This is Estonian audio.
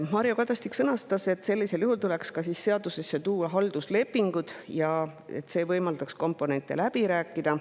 Mario Kadastik sõnas, et sellisel juhul tuleks seadusesse tuua ka halduslepingud, see võimaldaks komponente läbi rääkida.